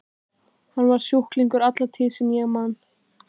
Hann var sjúklingur alla tíð sem ég man.